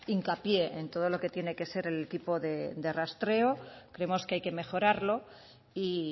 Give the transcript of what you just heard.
hincapié en todo lo que tiene que ser el equipo de rastreo creemos que hay que mejorarlo y